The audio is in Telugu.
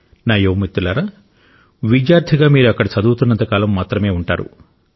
నా యువ మిత్రులారా విద్యార్థిగా మీరు అక్కడ చదువుతున్నంత కాలం మాత్రమే ఉంటారు